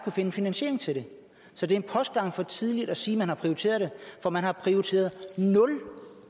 finde finansiering til det så det er en postgang for tidligt at sige at man har prioriteret det for man har prioriteret nul